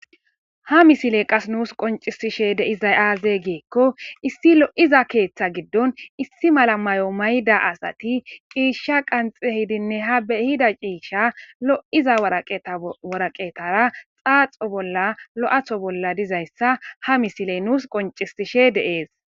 Ha misile qase nus qoncisishe de'iza aze giko issi lo'iza ketha gidon issi mala mayo mayida asati cisha qaxi ehidi ha be ehida cisha lo'iza waraqatara xaxo loytho bolla dizyisa ha misiley nus qoncises